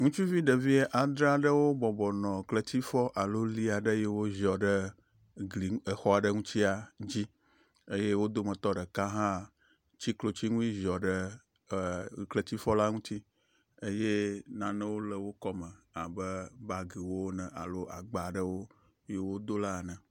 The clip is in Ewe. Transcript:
Ŋutsuvi ɖevi andre aɖewo bɔbɔ nɔ kletifɔ alo li aɖe yi ke woziɔ ɖe gli ŋu exɔa ɖe ŋutia dzi eye wo dometɔ ɖeka hã tsi klotsi nu yi ziɔ ɖe kletifɔ la ŋuti eye nanewo le wo kɔme abe bagiwo ne alo agba ɖewo yi wodona ene.